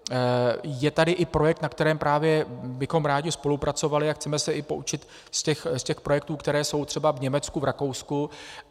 Je tady i projekt, na kterém právě bychom rádi spolupracovali, a chceme se i poučit z těch projektů, které jsou třeba v Německu, v Rakousku.